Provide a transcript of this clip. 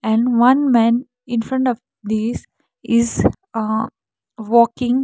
and one man infront of these is uh walking.